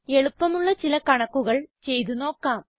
എളുപ്പമുള്ള ചില കണക്കുകൾ ചെയ്തു നോക്കാം